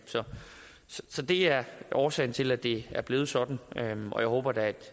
så det er årsagen til at det er blevet sådan og jeg håber da